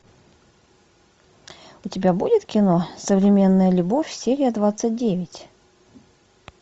у тебя будет кино современная любовь серия двадцать девять